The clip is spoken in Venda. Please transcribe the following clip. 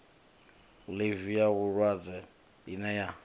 ḽivi ya vhulwadze ine ya